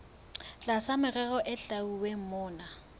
tlasa merero e hlwauweng mona